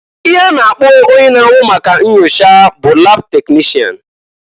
Ihe a na-akpọ onye n'ahụ maka nnyocha bụ lab teknishan.